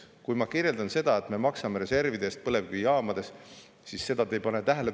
Kui ma räägin, et me maksame reservide eest põlevkivijaamades, siis seda te ei pane tähele.